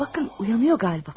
Baxın, oyanır qaliba.